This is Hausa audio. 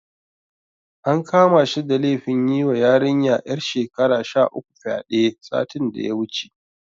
An kama shi da laifin yiwa yarinya ƴar shekara sha uku fyaɗe, satin da ya wuce.